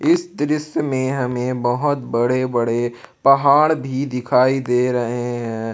इस दृश्य में हमें बहुत बड़े बड़े पहाड़ भी दिखाई दे रहे हैं।